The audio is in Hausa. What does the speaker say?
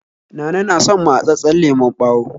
Nana na son matsatssen lemon ɓawo